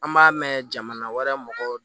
An b'a mɛn jamana wɛrɛ mɔgɔw